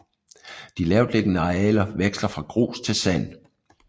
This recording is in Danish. De lavtliggende arealer veksler fra grus til sand